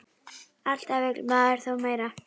Alltaf vill maður þó meira.